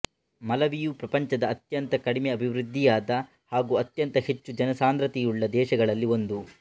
ಮಲವಿಯು ಪ್ರಪಂಚದ ಅತ್ಯಂತ ಕಡಿಮೆ ಅಭಿವೃದ್ಧಿಯಾದ ಹಾಗೂ ಅತ್ಯಂತ ಹೆಚ್ಚು ಜನಸಾಂದ್ರತೆಯುಳ್ಳ ದೇಶಗಳಲ್ಲಿ ಒಂದು